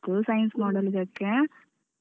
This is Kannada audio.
Science model ಇದಕ್ಕೆ.